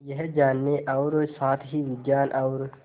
यह जानने और साथ ही विज्ञान और